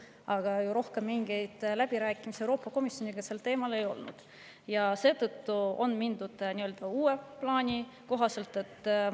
Aga rohkem mingeid läbirääkimisi Euroopa Komisjoniga sel teemal ei olnud ja seetõttu on edasi mindud uue plaani kohaselt.